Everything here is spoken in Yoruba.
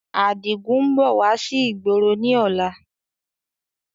Adigun ń bọ̀ wá sí ìgboro ni ọ̀la